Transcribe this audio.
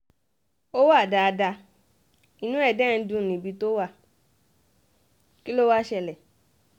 ó wà dáadáa inú ẹ dé ń dùn níbi tó wà kí ló wàá ṣẹlẹ̀